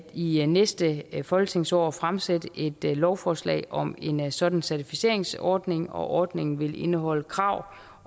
i næste folketingsår at fremsætte et lovforslag om en sådan certificeringsordning ordningen vil indeholde krav